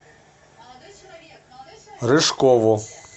рыжкову